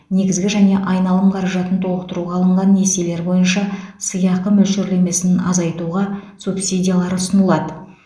негізгі және айналым қаражатын толықтыруға алынған несиелер бойынша сыйақы мөлшерлемесін азайтуға субсидиялар ұсынылады